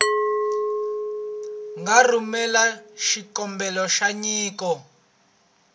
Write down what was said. nga rhumela xikombelo xa nyiko